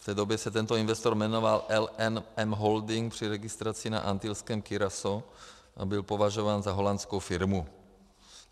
V té době se tento investor jmenoval LMN Holding při registraci na antilském Curacao a byl považován za holandskou firmu.